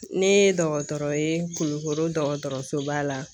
Ne ye dɔgɔtɔrɔ ye Kulukoro dɔgɔtɔrɔsoba la.